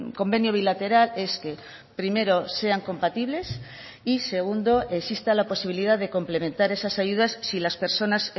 convenio bilateral es que primero sean compatibles y segundo exista la posibilidad de complementar esas ayudas si las personas